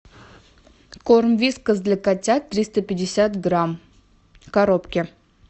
корм вискас для котят триста пятьдесят грамм в коробке